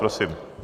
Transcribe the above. Prosím.